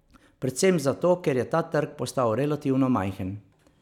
Predvsem zato, ker je ta trg postal relativno majhen.